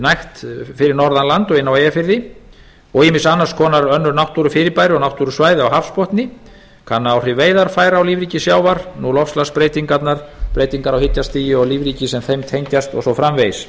nægt fyrir norðan land og inni á eyjafirði og ýmis annars konar ýmis náttúrufyrirbrigði og náttúrusvæði á hafsbotni kanna áhrif veiðarfæra á lífríki sjávar loftslagsbreytingarnar breytingar á hitastigi og lífríki sem þeim tengjast og svo framvegis